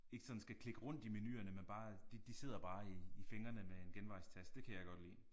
Ikke sådan skal klikke rundt i menuerne men bare de de sidder bare i i fingrene med en genvejstast det kan jeg godt lide